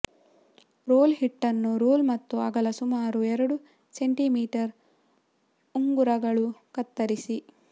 roll ಹಿಟ್ಟನ್ನು roll ಮತ್ತು ಅಗಲ ಸುಮಾರು ಎರಡು ಸೆಂಟಿಮೀಟರ್ ಉಂಗುರಗಳು ಕತ್ತರಿಸಿ